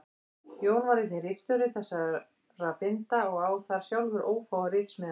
Jón var einnig ritstjóri þessara binda og á þar sjálfur ófáar ritsmíðar.